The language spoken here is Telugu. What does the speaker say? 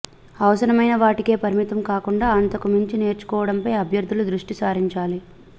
అవసరమైనవాటికే పరిమితం కాకుండా అంతకు మించి నేర్చుకోవడంపై అభ్యర్థులు దృష్టి సారించాలి